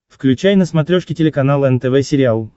включай на смотрешке телеканал нтв сериал